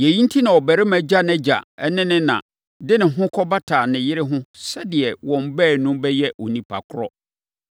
Yei enti na ɔbarima gya nʼagya ne ne na de ne ho kɔbata ne yere ho sɛdeɛ wɔn baanu bɛyɛ nnipa korɔ.